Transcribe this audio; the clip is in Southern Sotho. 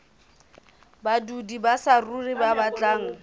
badudi ba saruri ba batlang